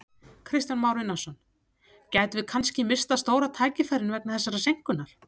Kristján Már Unnarsson: Gætum við kannski misst af stóra tækifærinu vegna þessarar seinkunar?